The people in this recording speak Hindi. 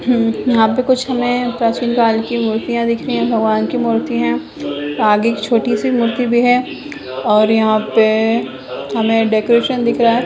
यहाँ पे कुछ हमें प्राचीन काल की मूर्तियाँ दिख रही है भगवान की मूर्ति है आगे एक छोटी सी मूर्ति भी है और यहाँ पर हमें डेकोरेशन दिख रहा है।